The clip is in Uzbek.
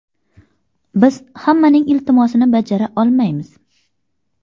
Biz hammaning iltimosini bajara olmaymiz.